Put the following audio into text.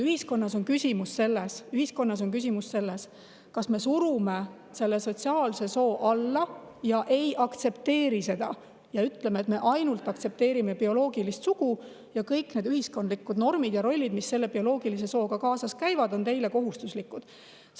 Nüüd, ühiskonnas on küsimus, kas me surume selle sotsiaalse soo alla, ei aktsepteeri seda ja ütleme, et me ainult aktsepteerime bioloogilist sugu ja kõik ühiskondlikud normid ja rollid, mis bioloogilise sooga kaasas käivad, on kohustuslikud.